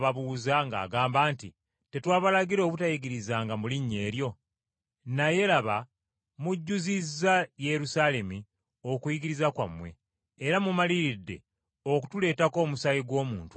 ng’agamba nti, “Tetwabalagira obutayigirizanga mu linnya eryo; naye laba mujjuzizza Yerusaalemi okuyigiriza kwammwe, era mumaliridde okutuleetako omusaayi gw’omuntu oyo.”